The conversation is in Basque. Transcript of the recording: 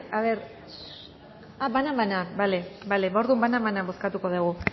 ah banan banan bale orduan banan banan bozkatuko dugu